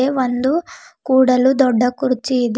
ಇದು ಒಂದು ಕೂಡಲು ದೊಡ್ಡ ಕುರ್ಚಿ ಇದೆ.